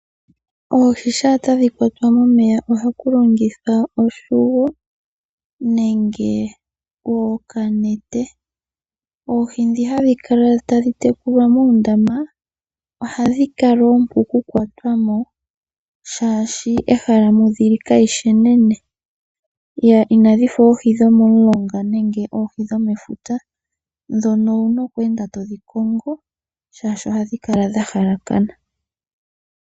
Oohi shaa tadhi kwatwa momeya ohaku longithwa oshongo nenge okanete. Oohi ndhi hadhi tekulwa muundama, ohadhi kala oompu okukwatwa mo oshoka ehala moka dhili kali shi enene. Inadhi fa oohi dhomomulonga nenge oohi dhomefuta, ndhono owu na oku enda todhi kongo oshoka ohadhi kala dha halakana.